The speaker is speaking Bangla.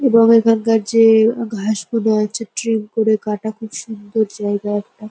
এবং এখানকার যে ঘাসগুলো আছে ট্রিম করে কাটা। খুব সুন্দর জায়গা একটা।